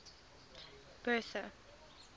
bertha